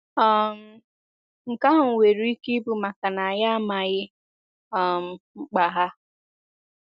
um Nke ahụ nwere ike ịbụ maka na anyị amaghị um mkpa ha.